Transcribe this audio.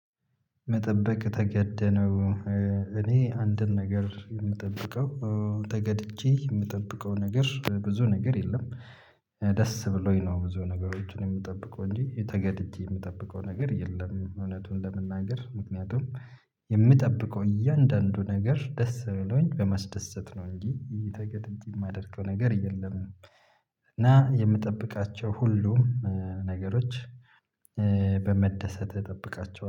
መጠበቅ ተገደህ ነው? እኔ አንድን ነገር የምጠብቀው ተገድጄ የምጠብቀው ነገር ብዙ ነገር የለም ደስ ብሎኝ ነው ብዙ ነገሮችን የምጠብቀው እንጂ ተገድጄ የምጠብቀው ነገር የለም እውነቱን ለመናገር ምክንያቱም የምጠብቀው እያንዳንዱ ነገር ደስ ብሎኝ በማስደሰት ነው እንጂ ተገደጄ የማደርገው ነገር የለም እና የምጠብቃቸው ሁሉ ነገሮች በመደሰት እጠብቃቸዋለሁ